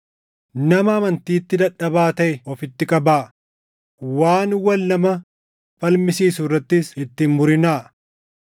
Nama amantiitti dadhabaa taʼe ofitti qabaa; waan wal nama falmisiisu irrattis itti hin murinaa.